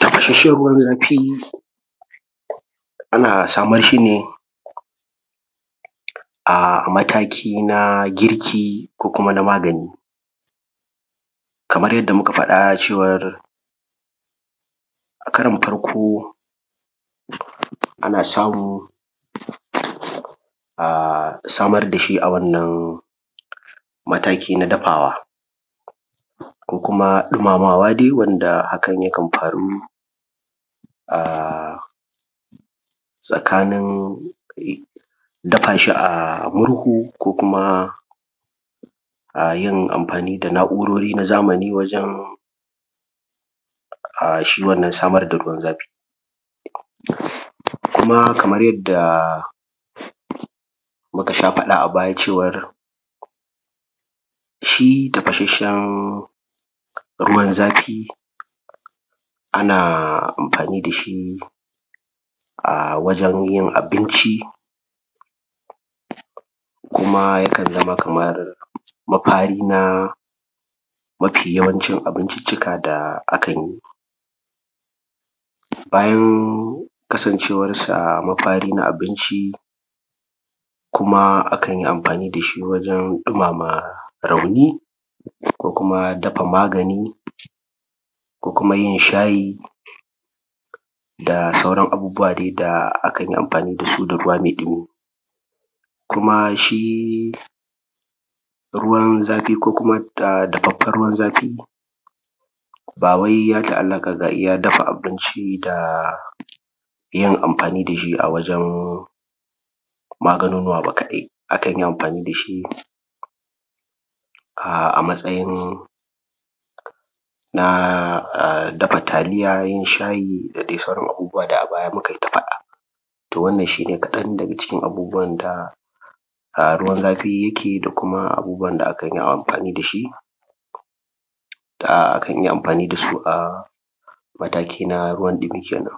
tafashashen ruwan zafi ana samar shi ne a matiki ba girki, ko na magani, kamar yadda muka faɗa cewar a karon farko ana samu a samar dashi a wannan mataki na dafawa, ko dumamawa wanda hakan yakan faru a tsakanin dafa shi a murhu ko kuma a yin anfani da na’urori na zamani wajen a shi samar da wannan ruwan zafin. Kamar yadda muka sha faɗa a baya shi tafashashen ruwan zafi ana amfani dashi a wajen yin abinci, kuma yakan zaman kaman mafi na mafi wayanci abincicika da a kan yi, bayan kasancewan sa na abinci kuma a kan yi amfani dashi wajen dumama rauni, ko kuma dafa magani, ko kuma yin shayi da sauran abubuwa dai da akanyi amfani da ruwan me dumi. Kuma shi ruwan zafi ko kuma dafaffen ruwan zafi bawai ya ta’alaka ga iya dafa abinci da yin amfani dashi a wajen maganonuwa ba kadai, akan yi amfani dashi a matsayin dafa taliya, yin shayi da dai sauran abubuwa da a baya mukai ta faɗa. To wannan shi ne kaɗan daga cikin abubuwan da ruwan zafi yike da kuma abubuwan da akan yi amfani dashi, da akan iya amfani da su, a matakin ruwan ɗumi kenen.